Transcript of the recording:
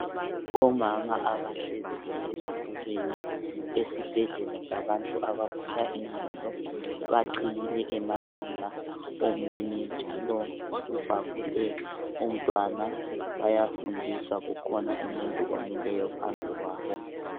Omama abahleziyo ezitulweni esibhedlela sabantu abagula ingqondo, baqhiyile emakhanda omunye njalo ubhabhule umntwana, bayafundiswa kukhona umuntu omileyo phambi kwabo.